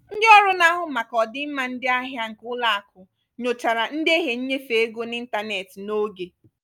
ndị ọrụ na-ahụ maka ọdịmma ndị ahịa nke ụlọakụ nyochara ndehie nnyefe ego n'ịntanetị n'oge.